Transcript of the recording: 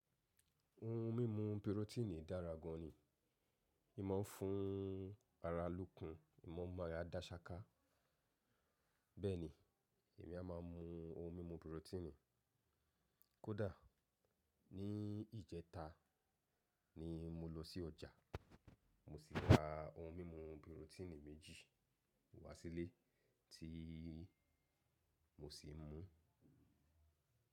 Ohun mímu pírọ́tíìnì dára gan ni. Ì máa ń fún ara lókun. Ì máa ń mu ara dáṣaká. Bẹ́ẹ̀ni, èmi a má a mu ohun mímu pírọ́tíìnì. Kódà, ní ìjẹta ni mo lọ sí ọjà, mo sì ra ohun mímu pírọ́tíìnì méjì wá sílé tí mo sì mú.